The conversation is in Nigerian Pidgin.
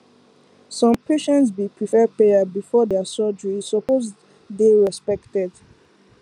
some patients bee prefer prayer before dir surgery e suppose dey respected